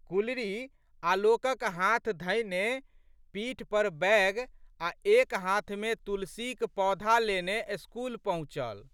गुलरी आलोकक हाथ धएने पीठ पर बैग आ' एक हाथमे तुलसीक पौध लेने स्कूल पहुँचल।